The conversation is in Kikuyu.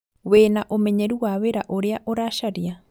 Wĩna ũmenyeru wa wĩra ũrĩa ũracaria?